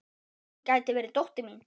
Hún gæti verið dóttir mín.